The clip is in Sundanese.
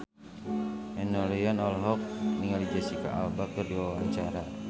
Enno Lerian olohok ningali Jesicca Alba keur diwawancara